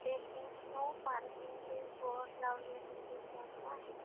तेथे no parking चे board लावलेले दिसत आहे.